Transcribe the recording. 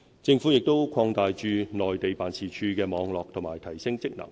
政府亦擴大駐內地辦事處的網絡和提升職能。